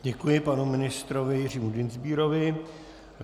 Děkuji panu ministrovi Jiřímu Dienstbierovi.